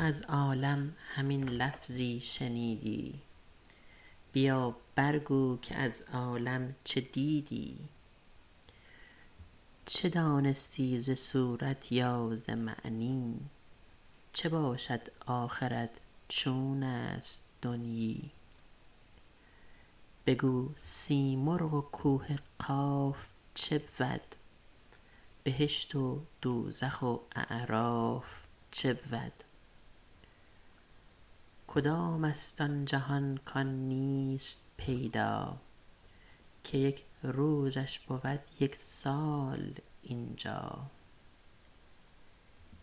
تو از عالم همین لفظی شنیدی بیا برگو که از عالم چه دیدی چه دانستی ز صورت یا ز معنی چه باشد آخرت چون است دنیی بگو سیمرغ و کوه قاف چبود بهشت و دوزخ و اعراف چبود کدام است آن جهان کان نیست پیدا که یک روزش بود یک سال اینجا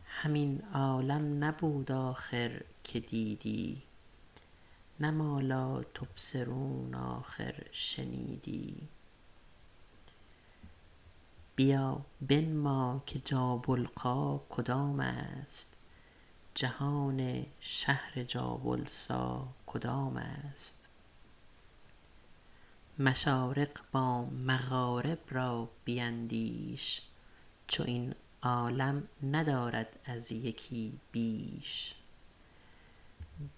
همین عالم نبود آخر که دیدی نه ما لا تبصرون آخر شنیدی بیا بنما که جابلقا کدام است جهان شهر جابلسا کدام است مشارق با مغارب را بیندیش چو این عالم ندارد از یکی بیش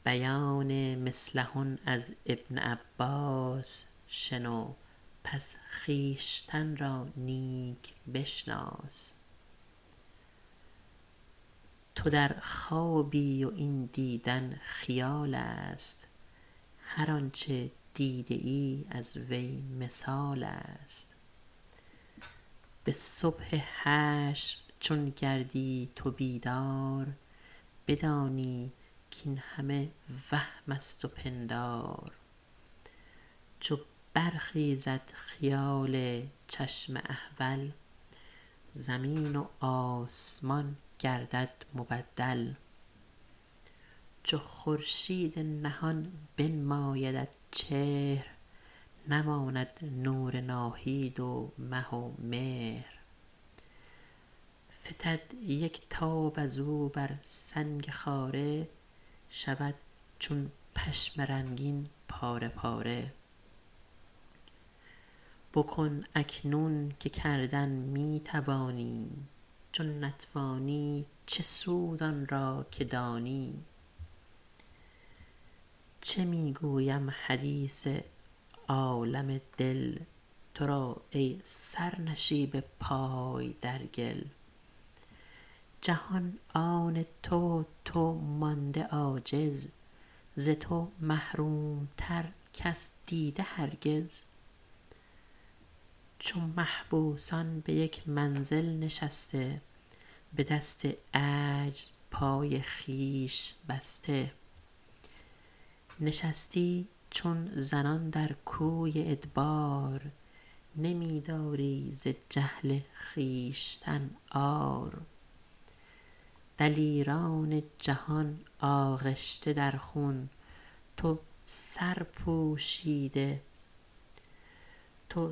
بیان مثلهن از ابن عباس شنو پس خویشتن را نیک بشناس تو در خوابی و این دیدن خیال است هر آنچه دیده ای از وی مثال است به صبح حشر چون گردی تو بیدار بدانی کاین همه وهم است و پندار چو برخیزد خیال چشم احول زمین و آسمان گردد مبدل چو خورشید نهان بنمایدت چهر نماند نور ناهید و مه و مهر فتد یک تاب از او بر سنگ خاره شود چون پشم رنگین پاره پاره بکن اکنون که کردن می توانی چو نتوانی چه سود آن را که دانی چه می گویم حدیث عالم دل تو را ای سرنشیب پای در گل جهان آن تو و تو مانده عاجز ز تو محروم تر کس دیده هرگز چو محبوسان به یک منزل نشسته به دست عجز پای خویش بسته نشستی چون زنان در کوی ادبار نمی داری ز جهل خویشتن عار دلیران جهان آغشته در خون تو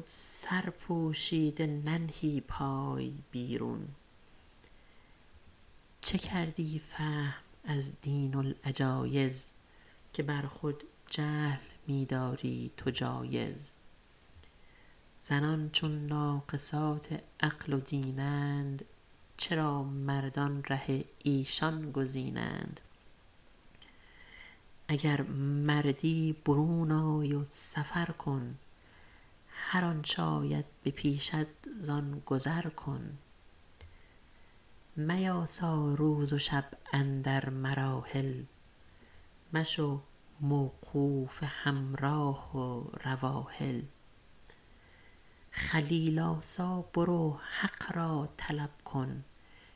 سرپوشیده ننهی پای بیرون چه کردی فهم ازین دین العجایز که بر خود جهل می داری تو جایز زنان چون ناقصات عقل و دینند چرا مردان ره ایشان گزینند اگر مردی برون آی و سفر کن هر آنچ آید به پیشت زان گذر کن میاسا روز و شب اندر مراحل مشو موقوف همراه و رواحل خلیل آسا برو حق را طلب کن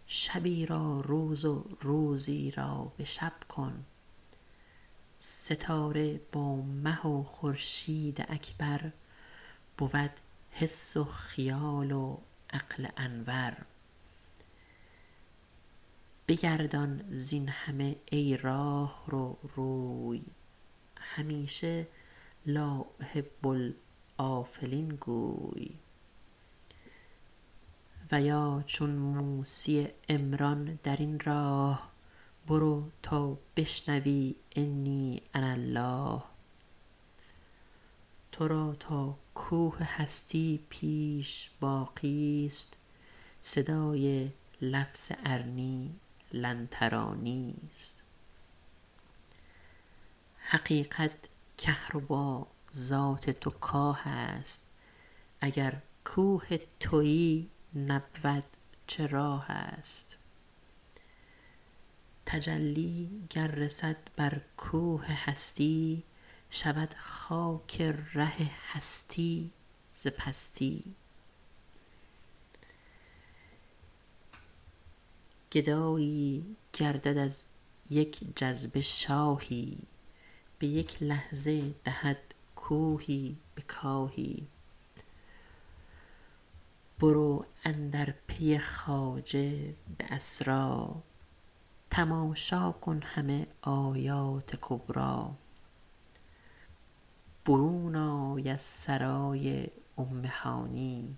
شبی را روز و روزی را به شب کن ستاره با مه و خورشید اکبر بود حس و خیال و عقل انور بگردان زین همه ای راهرو روی همیشه لا أحب الآفلين گوی و یا چون موسی عمران در این راه برو تا بشنوی إني أنا الله تو را تا کوه هستی پیش باقی است صدای لفظ ارنی لن ترانی است حقیقت کهربا ذات تو کاه است اگر کوه تویی نبود چه راه است تجلی گر رسد بر کوه هستی شود چون خاک ره هستی ز پستی گدایی گردد از یک جذبه شاهی به یک لحظه دهد کوهی به کاهی برو اندر پی خواجه به اسریٰ تماشا کن همه آیات کبریٰ برون آی از سرای ام هانی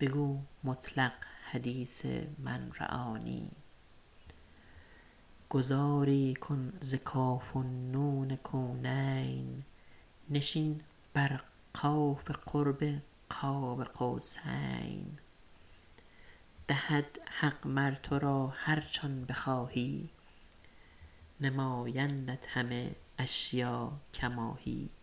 بگو مطلق حدیث من رآنی گذاری کن ز کاف و نون کونین نشین بر قاف قرب قاب قوسین دهد حق مر تو را هرچ آن بخواهی نمایندت همه اشیاء کما هی